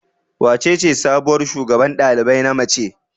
Wacece sabuwar shugaban ɗalibai na mace?